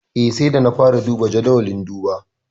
Eh, sai da na fara duba jadawalin duba.